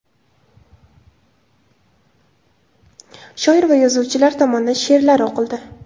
Shoir va yozuvchilar tomonidan she’rlar o‘qildi.